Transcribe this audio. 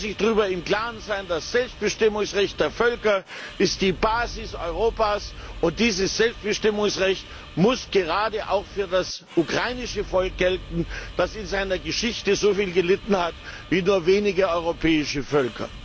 Man muss sich darüber im Klaren sein Das Selbstbestimmungsrecht der Völker ist die Basis Europas, und dieses Selbstbestimmungsrecht muss gerade auch für das ukrainische Volk gelten, das in seiner Geschichte so viel gelitten hat wie nur wenige europäische Völker.